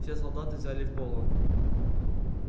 все солдаты взяли в полон